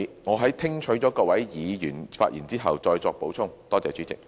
我會在聽取各位議員發言後，再作補充。